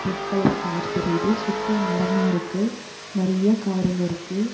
Red colour car தெரியிது சுத்தி மரமா இருக்கு நெறைய காருங்க இருக்கு.